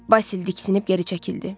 Basili diksinib geri çəkildi.